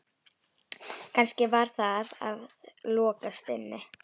Kannski var það að lokast inni?